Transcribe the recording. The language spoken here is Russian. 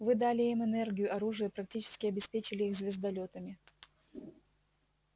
вы дали им энергию оружие практически обеспечили их звездолётами